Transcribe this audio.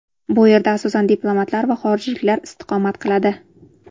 Bu yerda asosan diplomatlar va xorijliklar istiqomat qiladi.